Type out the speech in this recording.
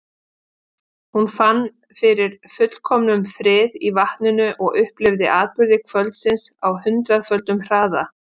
Hún fann fyrir fullkomnum friði í vatninu og upplifði atburði kvöldsins á hundraðföldum hraða.